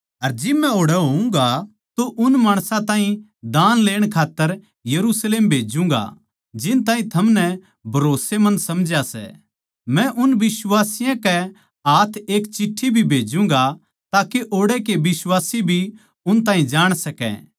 अर जिब मै ओड़ै होऊँगा तो उन माणसां ताहीं दान लेण खात्तर यरुशलेम भेज्जूँगा जिन ताहीं थमनै भरोस्सेमंद समझा सै मै उन बिश्वासियाँ के हाथ एक चिठ्ठी भी भेज्जूंगा ताके ओड़ै के बिश्वासी भी उन ताहीं जाण सकै